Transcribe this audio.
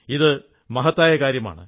ഇത് മഹത്തായ കാര്യമാണ്